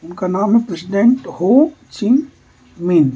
उनका नाम है प्रेसिडेंट हो सिन मी --